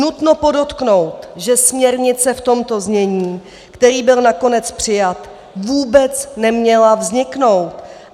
Nutno podotknout, že směrnice v tomto znění, která byla nakonec přijata, vůbec neměla vzniknout.